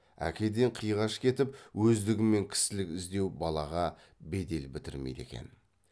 әкеден қиғаш кетіп өздігімен кісілік іздеу балаға бедел бітірмейді екен